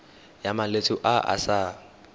ya malwetse a a sa